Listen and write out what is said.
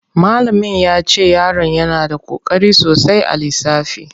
Malamin yace yaron yana da koƙari sosai a lissafi.